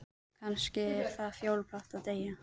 Kannski er það fjólublátt að deyja.